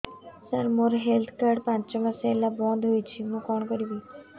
ସାର ମୋର health card ପାଞ୍ଚ ମାସ ହେଲା ବଂଦ ହୋଇଛି ମୁଁ କଣ କରିବି